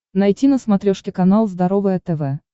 найти на смотрешке канал здоровое тв